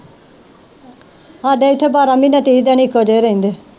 ਹਾਡੇ ਇੱਥੇ ਬਾਰਾਂ ਮਹੀਨੇ ਤੀਹ ਦਿਨ ਇੱਕੋ ਜਿਹੇ ਰਹਿੰਦੇ।